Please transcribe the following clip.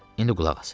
İndi qulaq as!